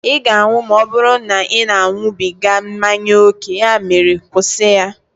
ị ga-anwụ ma ọ bụrụ na ị na-aṅụbiga mmanya ókè, ya mere kwụsị ya!